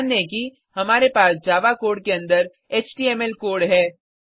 ध्यान दें कि हमारे पास जावा कोड के अंदर एचटीएमएल कोड है